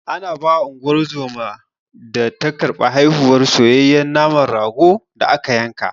Ana bawa Unguwar zoman da ta karɓi haihuwar, soyayye naman ragon da aka yanka.